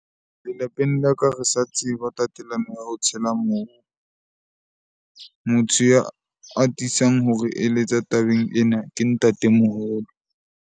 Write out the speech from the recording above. Lelapeng la ka, re sa tseba tatelano ya ho tshela . Motho ya atisang hore eletsa tabeng ena ke ntate moholo.